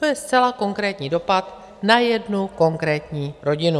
To je zcela konkrétní dopad na jednu konkrétní rodinu.